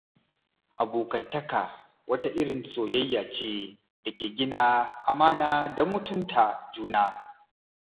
Abokantaka wata irin soyayya ce da ke gina amana da mutunta juna.